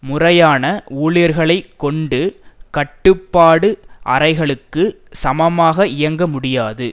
முறையான ஊழியர்களைக் கொண்டு கட்டுப்பாடு அறைகளுக்கு சமமாக இயங்க முடியாது